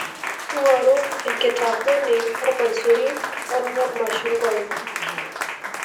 ngoru enkitakweni ormaisuri oo ormachungwai